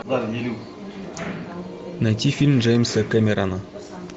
найти фильм джеймса кэмерона